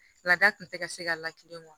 Laada tun tɛ ka se ka lakilen bɔ